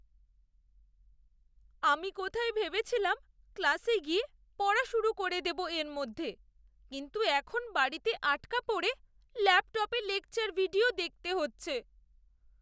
আমি কোথায় ভেবেছিলাম ক্লাসে গিয়ে পড়া শুরু করে দেব এর মধ্যে, কিন্তু এখন বাড়িতে আটকা পড়ে ল্যাপটপে লেকচার ভিডিও দেখতে হচ্ছে।